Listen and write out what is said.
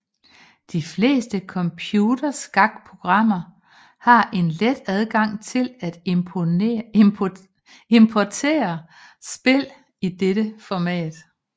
De fleste computerskak programmer har en let adgang til at importere spil i dette format